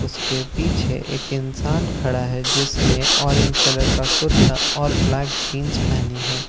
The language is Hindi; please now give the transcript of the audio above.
उसके पीछे एक इंसान खड़ा है जिसने ऑरेंज कलर का कुर्ता और ब्‍लैक जीन्‍स पहनी है।